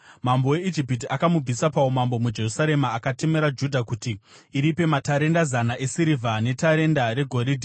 Mambo weIjipiti akamubvisa paumambo muJerusarema akatemera Judha kuti iripe matarenda zana esirivha netarenda regoridhe.